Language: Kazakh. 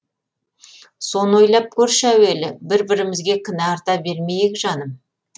соны ойлап көрші әуелі бір бірімізге кінә арта бермейік жаным